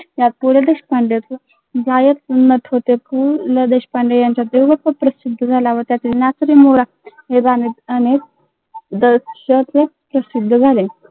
गायक व नट होते